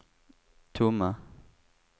tomma